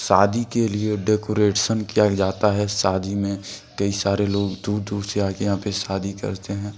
शादी के लिए डेकोरेशन किया जाता है शादी में कई सारे लोग दूर दूर से आके यहां पे शादी करते हैं।